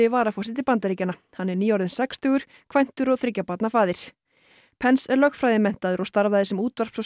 varaforseti Bandaríkjanna hann er nýorðinn sextugur kvæntur og þriggja barna faðir er lögfræðimenntaður og starfaði sem útvarps og